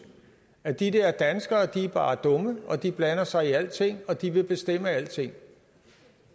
at de der danskere bare er dumme at de blander sig i alting og at de vil bestemme alting